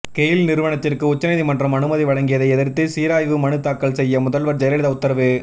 Gayle நிறுவனத்திற்கு உச்சநீதிமன்றம் அனுமதி வழங்கியதை எதிர்த்து சீராய்வு மனு தாக்கல் செய்ய முதல்வர் ஜெயலலிதா உத்தரவு